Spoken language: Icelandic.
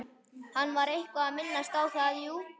Hann var eitthvað að minnast á það, jú.